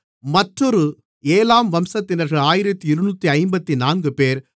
மற்றொரு ஏலாம் வம்சத்தினர்கள் 1254 பேர்